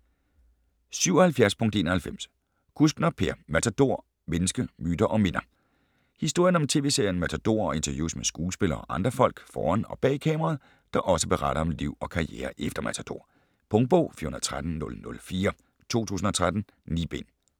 77.91 Kuskner, Per: Matador: mennesker, myter & minder Historien om tv-serien Matador og interviews med skuespillere og andre folk foran og bag kameraet, der også beretter om liv og karriere efter Matador. Punktbog 413004 2013. 9 bind.